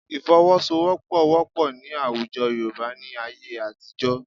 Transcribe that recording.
Ìfọwọ́sowọ́pọ̀ wọ́pọ̀ ní àwùjọ Yorùbá ní ayé àtijọ́